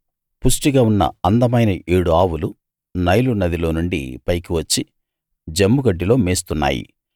పుష్టిగా ఉన్న అందమైన ఏడు ఆవులు నైలు నదిలో నుండి పైకి వచ్చి జమ్ముగడ్డిలో మేస్తున్నాయి